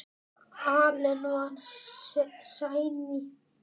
Allen var séní.